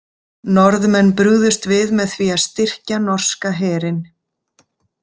Norðmenn brugðust við með því að styrkja norska herinn.